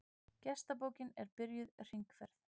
Gestabókin er byrjuð hringferð.